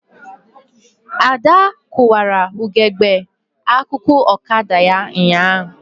Ada kụwara ugegbe akụkụ ọkada ya ụnyaahụ